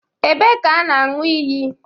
Ebee ka a na-aṅụ iyi